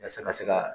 Yasa ka se ka